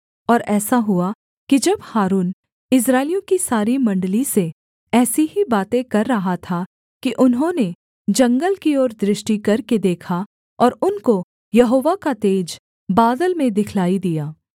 और ऐसा हुआ कि जब हारून इस्राएलियों की सारी मण्डली से ऐसी ही बातें कर रहा था कि उन्होंने जंगल की ओर दृष्टि करके देखा और उनको यहोवा का तेज बादल में दिखलाई दिया